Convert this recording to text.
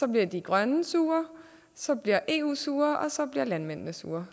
bliver de grønne sure så bliver eu sur og så bliver landmændene sure